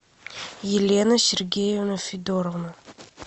елена сергеевна федоровна